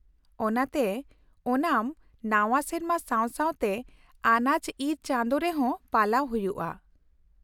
ᱚᱱᱟᱛᱮ ᱳᱱᱟᱢ ᱱᱟᱶᱟ ᱥᱮᱨᱢᱟ ᱥᱟᱶ ᱥᱟᱶᱛᱮ ᱟᱱᱟᱡ ᱤᱨ ᱪᱟᱸᱫᱳ ᱨᱮᱦᱚᱸ ᱯᱟᱞᱟᱣ ᱦᱩᱭᱩᱜᱼᱟ ᱾